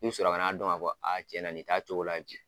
I bɛ sɔrɔ ka na dɔn ka fɔ cɛn na ni t'a cogo la.